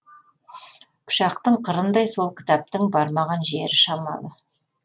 пышақтың қырындай сол кітаптың бармаған жері шамалы